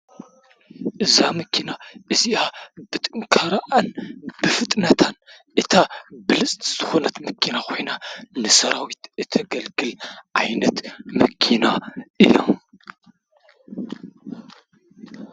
እዛ መኪና እዚኣ ብጥንካረኣን ብፍጥነታን እታ ብልፅቲ ዝኾነት መኪና ኮይና ንሰራዊት እተገልግል ዓይነት መኪና እያ፡፡